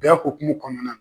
Bɛn hokumu kɔnɔna